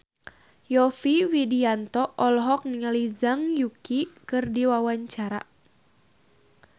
Yovie Widianto olohok ningali Zhang Yuqi keur diwawancara